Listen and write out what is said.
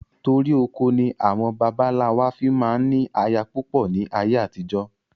Torí oko ni àwọn baba ńlá wa fi máa ń ní aya púpọ̀ ni ayé àtijọ́